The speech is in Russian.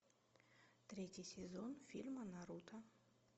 третий сезон фильма наруто